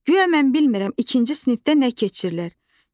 Guya mən bilmirəm ikinci sinifdə nə keçilir?